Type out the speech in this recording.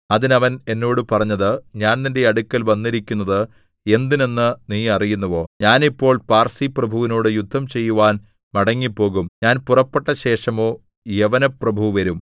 അതിന് അവൻ എന്നോട് പറഞ്ഞത് ഞാൻ നിന്റെ അടുക്കൽ വന്നിരിക്കുന്നത് എന്തിനെന്ന് നീ അറിയുന്നുവോ ഞാൻ ഇപ്പോൾ പാർസിപ്രഭുവിനോട് യുദ്ധം ചെയ്യുവാൻ മടങ്ങിപ്പോകും ഞാൻ പുറപ്പെട്ട ശേഷമോ യവനപ്രഭു വരും